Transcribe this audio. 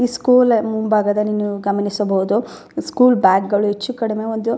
ಈ ಸ್ಕೂಲ್ ಮುಂಭಾಗದಲ್ಲಿ ನೀವು ಗಮನಿಸಬಹುದು ಸ್ಕೂಲ್ ಬ್ಯಾಗ್ಗಳು ಹೆಚ್ಚು ಕಡಿಮೆ ಒಂದು --